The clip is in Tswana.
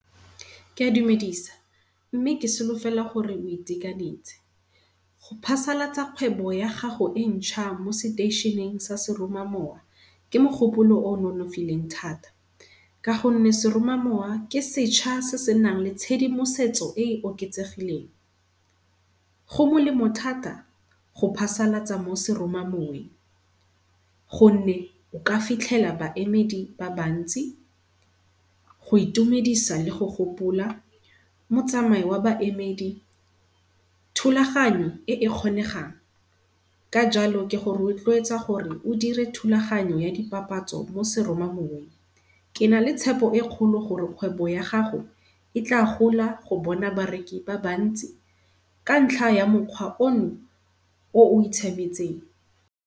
Ke a dumedisa mme ke solofela gore lo itekanetse. Go phasalatsa kgwebo ya gago e ntšha mo seteisheneng sa seromamowa, ke mogopolo o nonofileng thata. Ka gonne seromamowa ke setšha se senang le tshedimosetso e e oketsegileng. Go molemo thata go phasalatsa mo seromamoweng, gonne oka fitlhela baemedi ba bantsi go itumedisa le go gopola motsamai wa baemedi. Thulaganyo e e kgonengang, ka jalo ke go rotloetsa gore o dire thulaganyo ya di papatso mo seroma moweng ke na le tshepo e kgolo gore kgwebo ya gago e tla gola go bona bareki ba bantsi, ka ntlha ya mokgwa ono o o itshaemetseng.